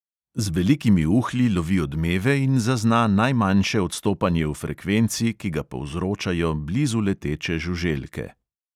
Z velikimi uhlji lovi odmeve in zazna najmanjše odstopanje v frekvenci, ki ga povzročajo blizu leteče žuželke.